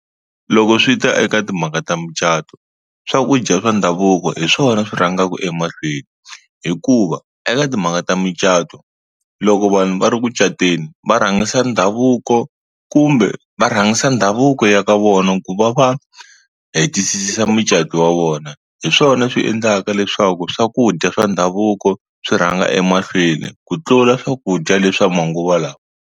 Loko swi ta eka timhaka ta mucato swakudya swa ndhavuko hi swona swi rhangaku emahlweni hikuva eka timhaka ta mucato loko vanhu va ri ku cateni va rhangisa ndhavuko kumbe va rhangisa ndhavuko ya ka vona ku va va hetisisa mucato wa vona hi swona swi endlaka leswaku swakudya swa ndhavuko swi rhanga emahlweni ku tlula swakudya leswa manguva lama.